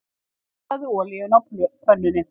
Hitaðu olíuna á pönnunni.